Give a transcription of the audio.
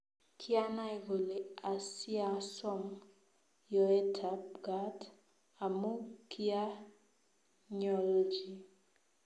Kyanai kole asiasom yoetab gaat amu kyanyolji